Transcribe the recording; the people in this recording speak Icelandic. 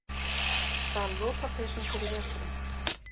Stal lopapeysum fyrir veturinn